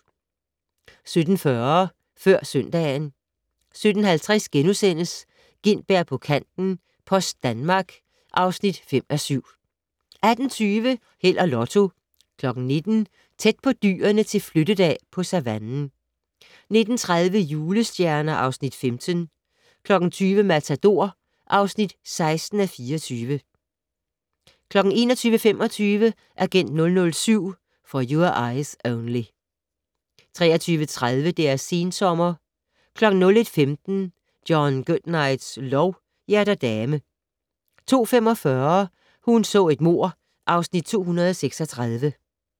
17:40: Før søndagen 17:50: Gintberg på kanten - Post Danmark (5:7)* 18:20: Held og Lotto 19:00: Tæt på dyrene til flyttedag på savannen 19:30: Julestjerner (Afs. 15) 20:00: Matador (16:24) 21:25: Agent 007 - For Your Eyes Only 23:30: Deres sensommer 01:15: John Goodnights lov: Hjerter dame 02:45: Hun så et mord (Afs. 236)